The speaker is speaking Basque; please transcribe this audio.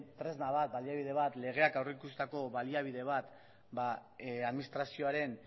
tresna bat baliabide bat legeak aurrikusitako baliabide bat administrazioaren